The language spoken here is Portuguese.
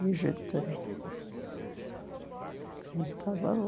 E a gente a gente estava lá.